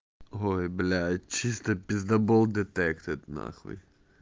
ой блять чисто писдобол детектед нахуй